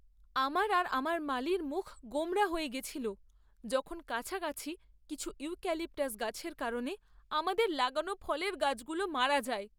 আমার আর আমার মালির মুখ গোমড়া হয়ে গেছিল যখন কাছাকাছি কিছু ইউক্যালিপটাস গাছের কারণে আমাদের লাগানো ফলের গাছগুলো মারা যায়।